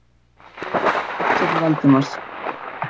Friðriki varð hugsað til Valdimars.